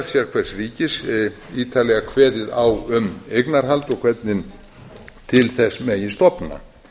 sérhvers ríkis ítarlega kveðið á um eignarhald og hvernig til þess megi stofna